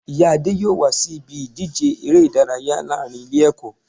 Ìyá Adé yóò wá sí ibi ìdíje eré ìdárayá láàrin Ilé èkó